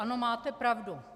Ano, máte pravdu.